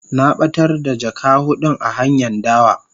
Na batar da jaka hudun a hanyan dawa.